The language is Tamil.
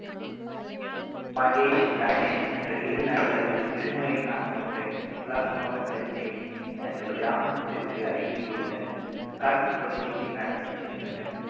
மகேஷ், ரமேஷ் என்ற இரு நண்பர்கள் விடுமுறை நாள் ஒன்றை உல்லாசமாக கழிக்க எண்ணி தங்கள் கிராமத்திற்கு அருகில் உள்ள காட்டுப்பகுதிக்கு நடந்து சென்றனர்